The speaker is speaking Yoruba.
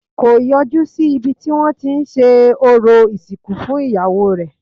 Kò yọjú sí ibi tí wọ́n tí ń ṣe orò ìsìnkú fún iyawo rẹ̀